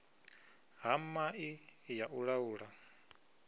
ha mai ya u laula